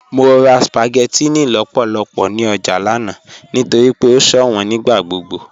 Mọ rà spaghettinni lọ́pọ̀lọ́pọ̀ ní ọjà lánà nítorí pé o ṣọwọn nígbàgbogbo.